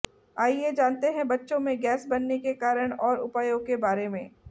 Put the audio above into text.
आइए जानते है बच्चों में गैस बनने के कारण और उपायों के बारे में